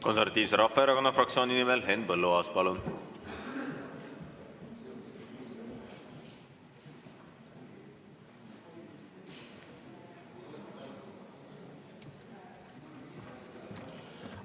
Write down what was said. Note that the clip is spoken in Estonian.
Konservatiivse Rahvaerakonna fraktsiooni nimel Henn Põlluaas, palun!